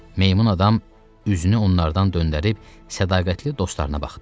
Meymun adam üzünü onlardan döndərib sədaqətli dostlarına baxdı.